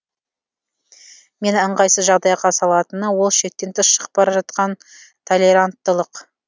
мені ыңғайсыз жағдайға салатыны ол шектен тыс шығып бара жатқан толеранттылық